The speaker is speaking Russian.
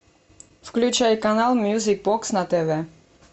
включай канал мьюзик бокс на тв